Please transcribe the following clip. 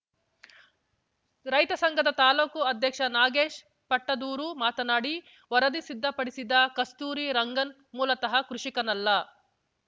ರೈತ ಸಂಘದ ತಾಲೂಕು ಅಧ್ಯಕ್ಷ ನಾಗೇಶ್‌ ಪಟ್ಟದೂರು ಮಾತನಾಡಿ ವರದಿ ಸಿದ್ದಪಡಿಸಿದ ಕಸ್ತೂರಿ ರಂಗನ್‌ ಮೂಲತಃ ಕೃಷಿಕನಲ್ಲ